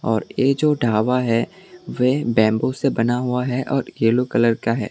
और ये जो ढाबा है वे बेम्बू से बना हुआ है और येलो कलर का है।